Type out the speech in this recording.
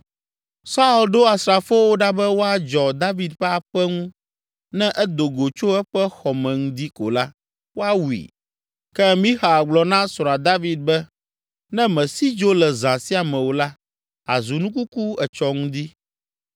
Saul ɖo asrafowo ɖa be woadzɔ David ƒe aƒe ŋu ne edo go tso eƒe xɔ me ŋdi ko la, woawui. Ke Mixal gblɔ na srɔ̃a David be “Ne mèsi dzo le zã sia me o la, àzu nu kuku etsɔ ŋdi.”